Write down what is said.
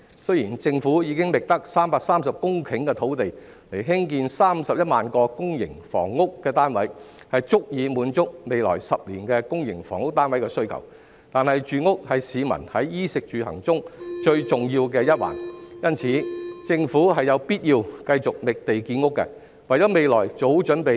雖然政府已經覓得330公頃的土地來興建31萬個公營房屋單位，足以滿足未來10年的公營房屋單位需求，但住屋是市民在衣食住行中最重要的一環，因此政府有必要繼續覓地建屋，為未來做好準備。